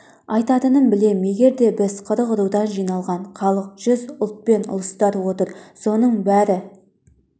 айтатынын білем егер де біз қырық рудан жиналған халық жүз ұлтпен ұлыстар отыр соның бәрі